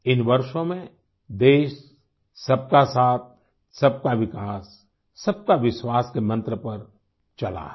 इन वर्षों में देश सबकासाथ सबकाविकास सबकाविश्वास के मंत्र पर चला है